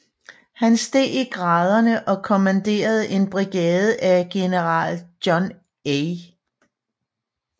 Han steg i graderne og kommanderede en brigade af General John A